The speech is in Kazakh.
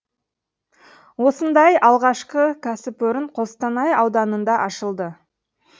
осындай алғашқы кәсіпорын қостанай ауданында ашылды